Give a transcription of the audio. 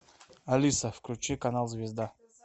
алиса включи канал звезда